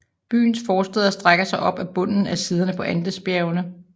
Byens forstæder strækker sig op ad bunden af siderne på Andesbjergene